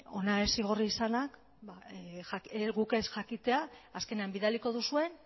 hona ez igorri izanak guk ez jakitea azkenean bidaliko duzuen